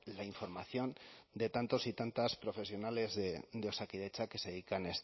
la información de tantos y tantas profesionales de osakidetza que se dedican